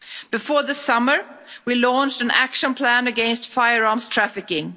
Before the summer, we launched an action plan against firearms trafficking.